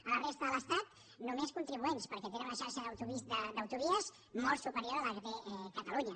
a la resta de l’estat només contribuents perquè tenen una xarxa d’autovies molt superior a la que té catalunya